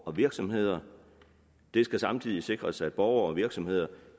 og virksomheder det skal samtidig sikres at borgere og virksomheder